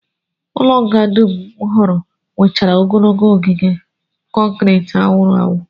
Ụlọnga dum m hụrụla nwechara ogologo ogige kọnkrit a wụrụ awụ